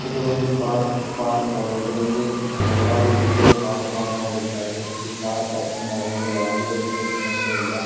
ಇದು ಒಂದು car park ಆಗಿದೆ. ಇಲ್ಲಿ ಹಲವಾರು ರೀತಿಯ ಕಾರ್ ಪಾರ್ಕ್ ಮಾಡಿದ್ದಾರೆ. ಇಲ್ಲಿ ಕಾರ್ ಪಾರ್ಕಿಂಗ್ ಮಾಡುವಾಗ ಯಾವುದೇ ರೀತಿಯ ಸಮಸ್ಯೆ ಇಲ್ಲ.